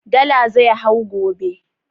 Dala zai hau gobe